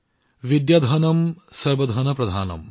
বিদ্যাধনম সৰ্ব ধনম প্ৰধানম